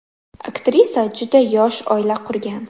Aktrisa juda yosh oila qurgan.